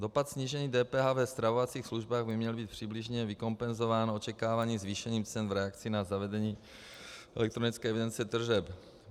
Dopad snížení DPH ve stravovacích službách by měl být přibližně vykompenzován očekávaným zvýšením cen v reakci na zavedení elektronické evidence tržeb.